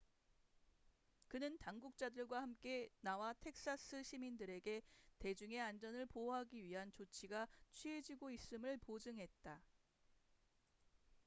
그는 당국자들과 함께 나와 텍사스 시민들에게 대중의 안전을 보호하기 위한 조치가 취해지고 있음을 보증했다